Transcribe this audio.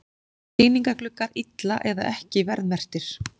Sýningargluggar illa eða ekki verðmerktir